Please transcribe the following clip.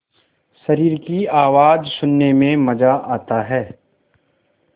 शरीर की आवाज़ सुनने में मज़ा आता है